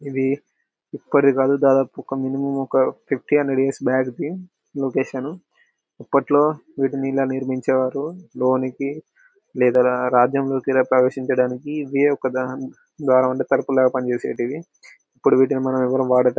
ఇది ఇప్పటిది కాదు దాదాపు ఒక మినిమం ఒక fifty hundred years back the location . అప్పట్లో వీటిని ఇలా నిర్మించేవారు లోనికి లేదా రా రాజ్యం లోకి ఇలా ప్రేవేశించదానికి ఇది ఒక ద్వారబందము అంటే తలుపులు లాగా పని చేసితివి. ఇప్పుడు వీటిని మనం ఎవ్వరం వాడక--